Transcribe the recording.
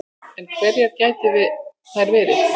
En hverjar gætu þær verið